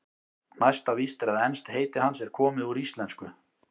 Næsta víst er að enskt heiti hans er komið úr íslensku.